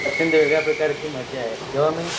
passenger एका प्रकारची मजा आहे